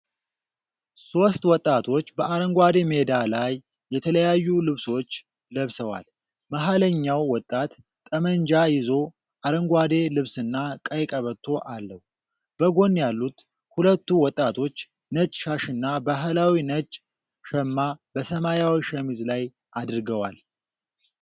ሦስት ወጣቶች በአረንጓዴ ሜዳ ላይ የተለያዩ ልብሶች ለብሰዋል። መሃለኛው ወጣት ጠመንጃ ይዞ፣ አረንጓዴ ልብስና ቀይ ቀበቶ አለው። በጎን ያሉት ሁለቱ ወጣቶች ነጭ ሻሽና ባህላዊ ነጭ ሸማ በሰማያዊ ሸሚዝ ላይ አድርገዋል።